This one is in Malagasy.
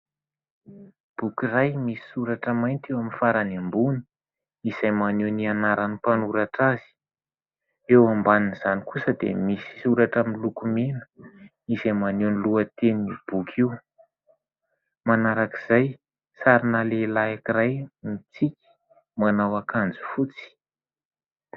Boky iray misy soratra mainty eo faran'ny ambony izay maneho ny anaran'ny mpanoratra azy. Eo ambanin'izany kosa dia misy soratra miloko mena izay maneho ny lohateni'io boky io. Manarak'izay, sarina lehilahy anankiray mitsiky manao akanjo fotsy.